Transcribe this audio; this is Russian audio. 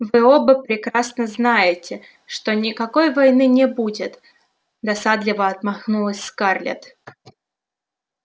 вы оба прекрасно знаете что никакой войны не будет досадливо отмахнулась скарлетт